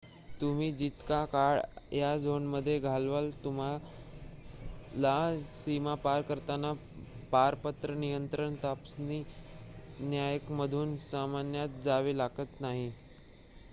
तुम्ही जितका काळ या झोनमध्ये घालवाल तुम्हाला सीमा पार करताना पारपत्र नियंत्रण तपासणी नाक्यांमधून सामान्यत जावे लागत नाही